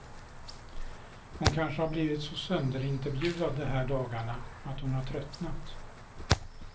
Hon kanske har blivit så sönderintervjuad de här dagarna att hon har tröttnat.